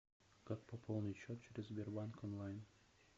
как пополнить счет через сбербанк онлайн